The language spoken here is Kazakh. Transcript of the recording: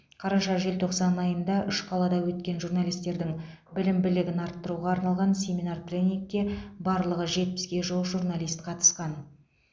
қараша желтоқсан айында үш қалада өткен журналистердің білім білігін арттыруға арналған семинар тренингке барлығы жетпіске жуық журналист қатысқан